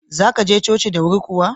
Za ka je coci da wuri kuwa?